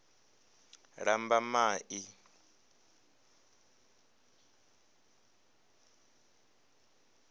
lambamai